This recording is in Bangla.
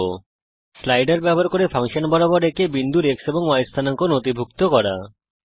একটি স্লাইডার ব্যবহার করে ফাংশন বরাবর আঁকিয়া একটি বিন্দুর X এবং Y স্থানাঙ্ক নথিভুক্ত করার জন্যে